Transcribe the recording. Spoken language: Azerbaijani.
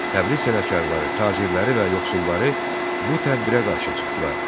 Təbriz sənətkarları, tacirləri və yoxsulları bu tədbirə qarşı çıxdılar.